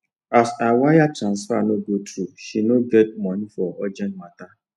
as her wire transfer no go through she no get monei for urgent matter